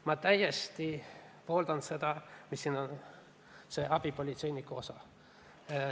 Ma täiesti pooldan seda abipolitseinikega seotud osa.